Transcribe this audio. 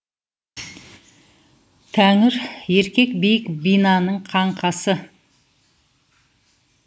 тәңір еркек биік бинаның қаңқасы